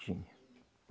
Tinha.